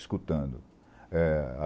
Escutando.